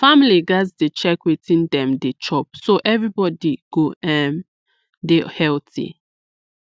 families gats dey check wetin dem dey chop so everybody go um dey healthy